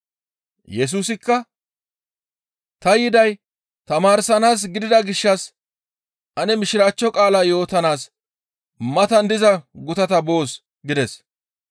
Yesusikka, «Ta yiday tamaarsanaas gidida gishshas Mishiraachcho qaala yootanaas matan diza gutata ane boos» gides.